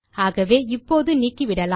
ஆகவே இப்போது நீக்கிவிடலாம்